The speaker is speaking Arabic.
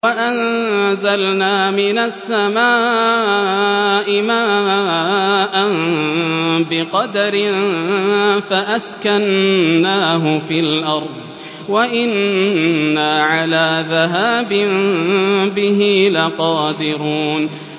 وَأَنزَلْنَا مِنَ السَّمَاءِ مَاءً بِقَدَرٍ فَأَسْكَنَّاهُ فِي الْأَرْضِ ۖ وَإِنَّا عَلَىٰ ذَهَابٍ بِهِ لَقَادِرُونَ